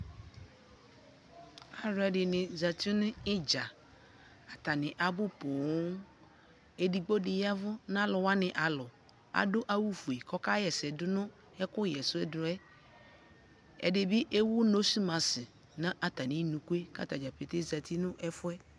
alʋɛdini zati nʋ itdza, atani abu pɔɔm, ɛdigbɔ di yavʋ nʋ alʋ wani alɔ, adʋ awʋ ƒʋɛ kʋ ɔka yɛsɛ dʋnʋ ɛkʋ yɛsɛ dʋɛ, ɛdibi ɛwʋ nose mask nʋ atani nʋ kʋɛ, kʋ atagya pɛtɛɛ zati nʋ ɛƒʋɛ